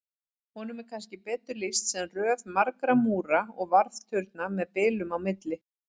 Honum er kannski betur lýst sem röð margra múra og varðturna með bilum á milli.